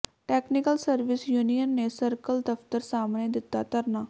technical service union ਨੇ circle ਦਫ਼ਤਰ ਸਾਹਮਣੇ ਦਿੱਤਾ ਧਰਨਾ